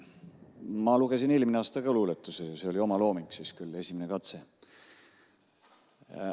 Ma lugesin eelmine aasta ka luuletuse ja see oli omalooming, küll esimene katse.